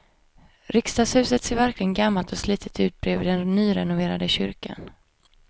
Riksdagshuset ser verkligen gammalt och slitet ut bredvid den nyrenoverade kyrkan.